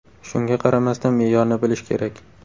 Shunga qaramasdan, me’yorni bilish kerak.